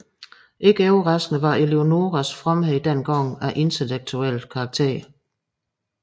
Ikke overraskende var Eleonoras fromhed dengang af intellektuelt karakter